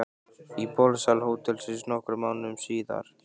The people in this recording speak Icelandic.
Í borðsal hótelsins nokkrum mánuðum síðar.